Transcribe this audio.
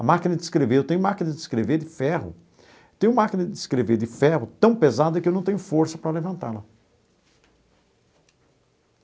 A máquina de escrever, eu tenho máquina de escrever de ferro, eu tenho máquina de escrever de ferro tão pesada que eu não tenho força para levantá-la.